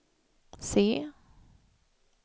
C